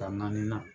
Ka naani